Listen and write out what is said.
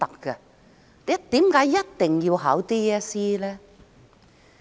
為何學生一定要考 DSE？